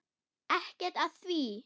Ekkert að því!